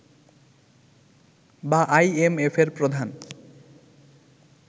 বা আইএমএফের প্রধান